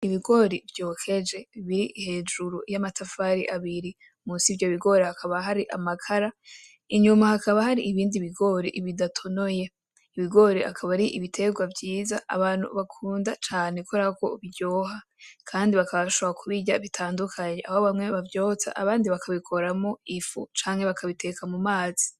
Ibigori vyokeje biri hejuru y'amatafari abiri, munsi yivyo bigori hakaba hari amakara, inyuma hakaba hari ibindi bigori bidatonoye. Ibigori akaba ari ibiterwa vyiza, abantu bakunda cane kubera ko biryoha, kandi bakaba bashobora kubirya bitandukanye, aho bamwe bavyoza abandi bakabikoramwo ifu, canke bakabiteka mu mazi.